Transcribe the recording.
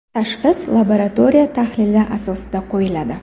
Tashxis labaratoriya tahlili asosida qo‘yiladi.